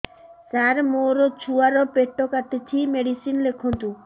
ସାର ମୋର ଛୁଆ ର ପେଟ କାଟୁଚି ମେଡିସିନ ଲେଖନ୍ତୁ